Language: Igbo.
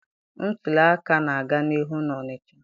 Ntuli aka na-aga n'ihu na Onịcha.